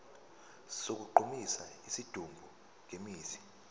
sokugqumisa isidumbu ngemithi